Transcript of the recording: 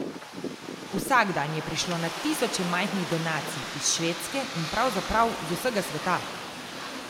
Vsak dan je prišlo na tisoče majhnih donacij, iz Švedske in pravzaprav z vsega sveta.